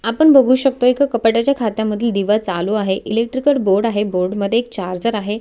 आपण बघु शकतो एका कपाट्याच्या खात्या मधील दिवा चालू आहे इलेक्ट्रीकल बोर्ड आहे बोर्ड मध्ये एक चार्जर आहे.